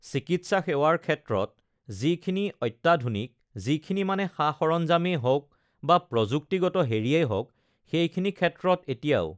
চিকিৎসা সেৱাৰ ক্ষেত্ৰত uhh যিখিনি uhh অত্যাধুনিক যিখিনি মানে uhh সা-সৰঞ্জামেই হওক বা প্ৰযুক্তিগত হেৰিয়েই হওক সেইখিনি ক্ষেত্ৰত এতিয়াও